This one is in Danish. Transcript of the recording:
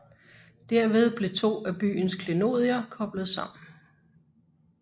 Derved blev to af byens klenodier koblet sammen